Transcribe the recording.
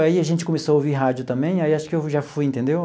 Aí a gente começou a ouvir rádio também, aí acho que eu já fui, entendeu?